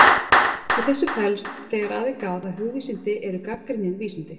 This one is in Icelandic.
Í þessu felst, þegar að er gáð, að hugvísindi eru gagnrýnin vísindi.